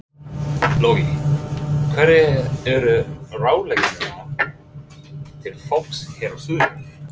Logi: Hverjar eru ráðleggingar þínar til fólks hér á suðurlandi?